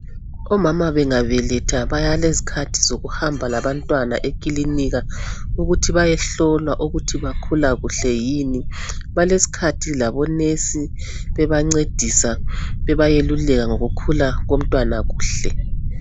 Omama bengabeletha balezikhathi zokuhamba labantwana ekilinika ukuthi bayehlolwa ukuthi bakhula kuhle yini, balesikhathi labonesi bebancedisa, bebayeluleka ngokukhula kumnwana kuhle.